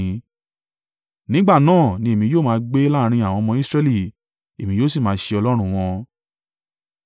Nígbà náà ni èmi yóò máa gbé láàrín àwọn ọmọ Israẹli, èmi yóò sì máa ṣe Ọlọ́run wọn.